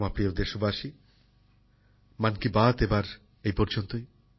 আমার প্রিয় দেশবাসী মন কি বাত এবার এই পর্যন্তই